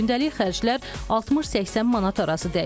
Gündəlik xərclər 60-80 manat arası dəyişir.